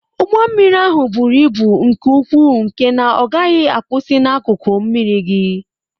Ụgbọ mmiri ahụ buru ibu nke ukwuu nke na ọ gaghị akwusi n'akụkụ mmiri gị.